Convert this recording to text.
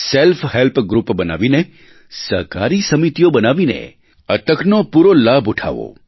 self help group બનાવીને સહકારી સમિતિઓ બનાવીને આ તકનો પૂરો લાભ ઉઠાવો